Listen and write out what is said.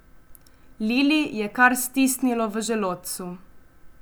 Lili je kar stisnilo v želodcu.